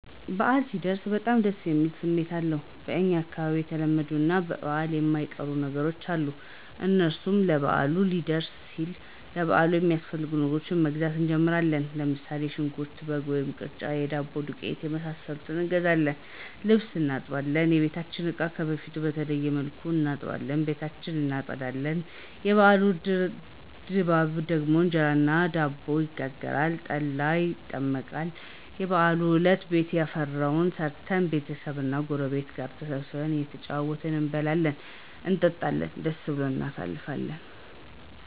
በአል ሲደርስ በጣም ደስ የሚል ስሜት አለዉ። በኛ አካባቢ የተለመዱ እና ለበአል የማይቀሩ ነገሮች አሉ። እነሱም በአሉ ሊደርስ ሲል ለበአሉ የሚያስፈልጉ ነገሮችን በመግዛት እንጀምራለን። ለምሳሌ ሽንኩርት፣ በግ ወይም ቅርጫ፣ የዳቦ ዱቄት የመሳሰሉትን እንገዛለን። ልብስ እናጥባለን፣ የበቤታችንን እቃ ከበፊቱ በተለየ መልኩ እናጥባለን፣ ቤታችን እናፀዳለን። የበአሉ ድራር ደግሞ እንጀራ እና ዳቦ ይጋገራል፣ ጠላ ይጠመቃል። የበአሉ አለት ቤት ያፈራዉን ሰርተን ቤተሰብ እና ጉረቤት ጋር ተሰባስበን እየተጨዋወትን አየበላን አየጠጣን ደስ ብሉን እናሳልፍለን